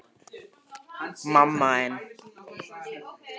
Þessi bakstur stóð í marga daga.